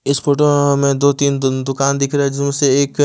इस फोटो में हमें दो तीन दुकान दिख रहा है। जिसमें से एक--